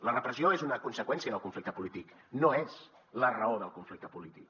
la repressió és una conseqüència del conflicte polític no és la raó del conflicte polític